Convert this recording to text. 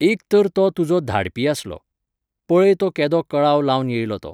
एक तर तो तुजो धाडपी आसलो. पळय तो केदो कळाव लावन येयलो तो.